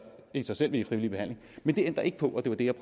af sig selv vil i frivillig behandling men det ændrer ikke på og det var det jeg